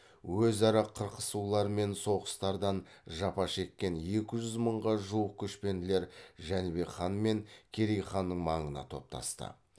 өзара қырқысулар мен соғыстардан жапа шеккен екі жүз мыңға жуық көшпенділер жәнібек хан мен керей ханның маңына топтасты